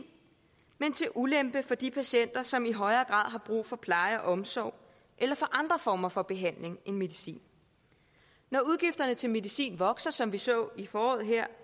men til ulempe for de patienter som i højere grad har brug for pleje og omsorg eller for andre former for behandling end medicin når udgifterne til medicin vokser som vi så her i foråret